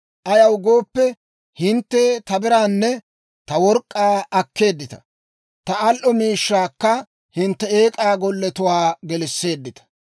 Ayaw gooppe, hintte ta biraanne ta work'k'aa akkeeddita; ta al"o miishshaakka hintte eek'aa golletuwaa gelisseeddita.